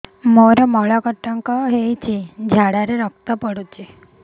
ମୋରୋ ମଳକଣ୍ଟକ ହେଇଚି ଝାଡ଼ାରେ ରକ୍ତ ପଡୁଛି